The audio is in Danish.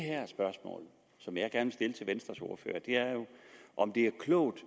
spørgsmål som jeg gerne vil stille til venstres ordfører er jo om det er klogt